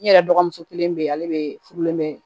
I yɛrɛ dɔgɔmuso kelen bɛ yen ale bɛ furulen bɛ